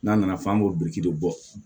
N'a nana fɔ an b'o biriki dɔ bɔ